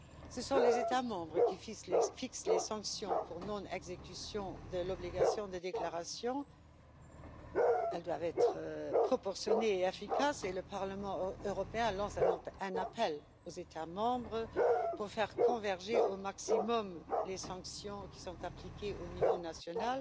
Ce sont les États membres qui fixent les sanctions pour non exécution de l'obligation de déclaration elles doivent être proportionnées et efficaces et le Parlement européen lance un appel aux États membres pour faire converger au maximum les sanctions appliquées au niveau national,